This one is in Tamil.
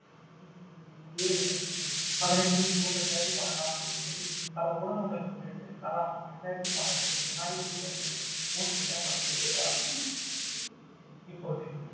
பதினெட்டு சூன் ரெண்டாயிரத்தி பன்னெண்டாம் தேதியில் பல ஊடகங்களுக்கு பிறகு கலாம் ரெண்டாயிரத்தி பன்னண்டு ஜனாதிபதி தேர்தலில் போட்டியிட மறுத்துவிட்டார் இப்போது